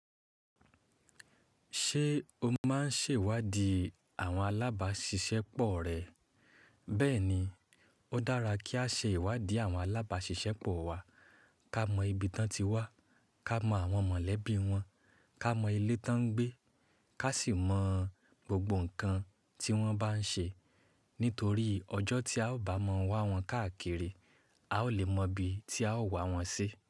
Ṣé o máa ń ṣèwádìí àwọn alábáṣiṣẹ́ pọ̀ rẹ? Bẹ́ẹ̀ ni, ó dára kí á ṣe ìwádìí àwọn alábáṣiṣẹ́ pọ̀ wa, ká mọ ibi tán tí wá, ká mọ àwọn mọ̀lẹ́bí wọn, ká mọ ilé tán gbé, ká sì mọ gbogbo ǹkan tí wọ́n bá ń ṣe. Nítorí ọjọ́ tí a ò bá mọ wá wọn káàkiri, a ò lè mọ ibi tí a ó wá wọn sí.